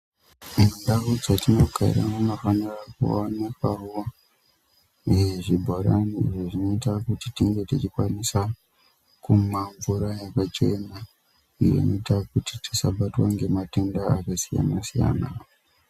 Mundau dzetinogara munofanira kuonekwavo zvibhorani izvo zvinoita kuti tinge tichikwanisa kumwa mvura yakachena. Iyo inoita kuti tisabatwa ngematenda akasiyana-siyana.